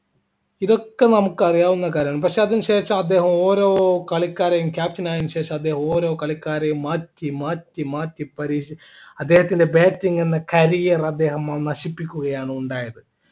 ഇതൊക്കെ നമുക്കറിയാവുന്ന കാര്യാണ് പക്ഷേ അതിനുശേഷം അദ്ദേഹം ഓരോ കളിക്കാരെയും captain അയേണ് ശേഷം അദ്ദേഹം ഓരോ കളിക്കാരെയും മാറ്റി മാറ്റി മാറ്റി പരീക്ഷിച്ച് അദ്ദേഹത്തിൻ്റെ bating എന്ന career അദ്ദേഹം നശിപ്പിക്കുകയാണ് ഉണ്ടായത്